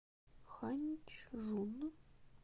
ханьчжун